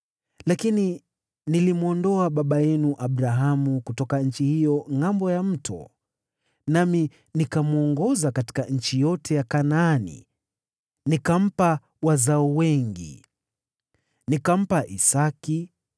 Lakini nilimwondoa baba yenu Abrahamu kutoka nchi hiyo ngʼambo ya Mto, nami nikamwongoza katika nchi yote ya Kanaani, nikampa wazao wengi. Nikampa Isaki,